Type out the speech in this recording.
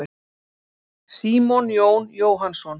Símon Jón Jóhannsson.